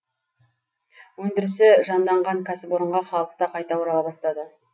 өндірісі жанданған кәсіпорынға халық та қайта орала бастады